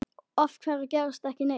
Af hverju gerist ekki neitt?